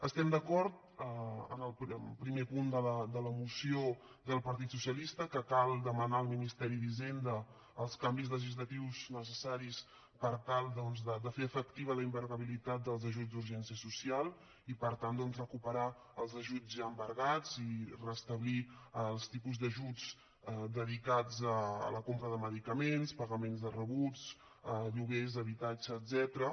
estem d’acord en el primer punt de la moció del partit socialista que cal demanar al ministeri d’hisenda els canvis legislatius necessaris per tal doncs de fer efectiva la inembargabilitat dels ajuts d’urgència social i per tant doncs recuperar els ajuts ja embargats i restablir els tipus d’ajuts dedicats a la compra de medicaments pagaments de rebuts lloguers d’habitatge etcètera